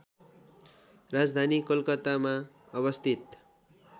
राजधानी कोलकातामा अवस्थित